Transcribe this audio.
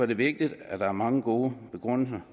det vigtigt at der er mange gode begrundelser